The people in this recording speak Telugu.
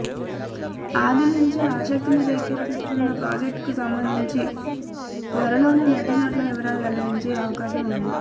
ఆదినుంచే ఆసక్తిని రేకెత్తిస్తోన్న ప్రాజెక్టుకు సంబంధించి త్వరలోనే నటీనటుల వివరాలు వెల్లడించే అవకాశం ఉంది